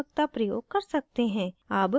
अब सारांशित करते हैं